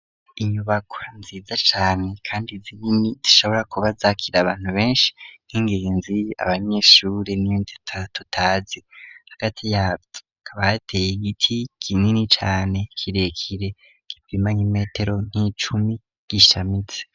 Inyubakwa nziza cane kandi zinini zishobora kuba zakira abantu benshi nk'ingenzi abanyeshuri n'inditat tazi agati yabyo kabateye giti kinini cane kirekire gipimank'imetero nk'icumi ry'ishamitsi